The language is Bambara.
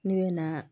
Ne bɛ na